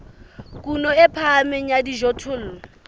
kuno e phahameng ya dijothollo